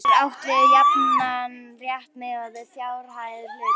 Hér er átt við jafnan rétt miðað við fjárhæð hluta.